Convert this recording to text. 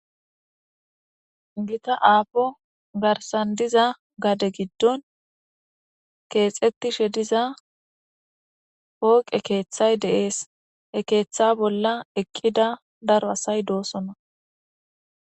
Gitta aapo garsan diza gade giddon keexetishe diza pooqe keeththay de'ees he keeththa bolla eqqida daro asay doosona